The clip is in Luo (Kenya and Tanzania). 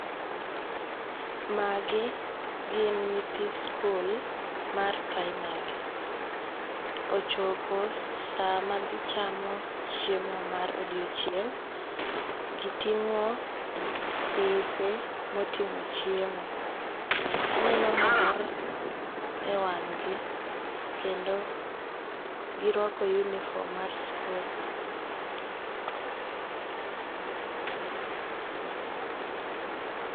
Magi gin nyithi skul mar primary ochopo sama gichamo chiemo mar odiochieng , gitingo' dise ma otingo' chiemo , aneno mor e wang'gi kendo girwako uniform mar school